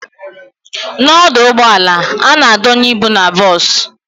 N'ọdụ ụgbọala, a na-adonye ịbụ n'bos